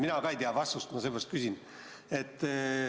Mina ka ei tea vastust, ma seepärast küsin.